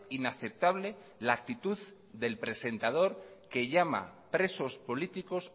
inaceptable la actitud del presentador que llama presos políticos